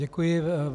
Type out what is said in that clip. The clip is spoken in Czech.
Děkuji.